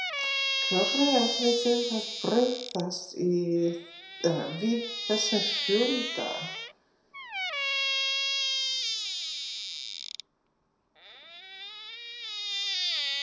Hvernig ætlið þið að bregðast við þessum fjölda?